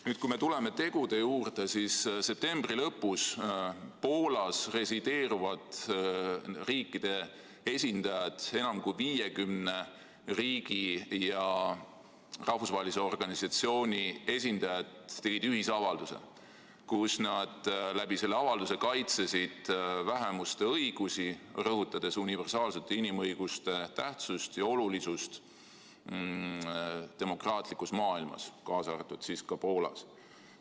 " Nüüd, kui me tuleme tegude juurde, siis septembri lõpus tegid Poolas resideeruvad riikide esindajad – enam kui 50 riigi ja rahvusvahelise organisatsiooni esindajad – ühisavalduse, kus nad kaitsesid vähemuste õigusi, rõhutades universaalsete inimõiguste tähtsust ja olulisust demokraatlikus maailmas, kaasa arvatud Poolas.